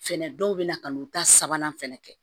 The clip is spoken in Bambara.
Fɛnɛ dɔw bɛ na ka n'u ta sabanan fɛnɛ kɛ